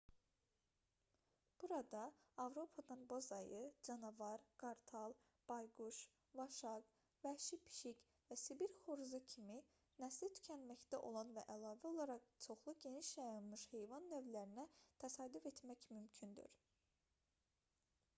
burada avropadan boz ayı canavar qartal bayquş vaşaq vəhşi pişik və sibir xoruzu kimi nəsli tükənməkdə olan və əlavə olaraq çoxlu geniş yayılmış heyvan növlərinə təsadüf etmək mümkündür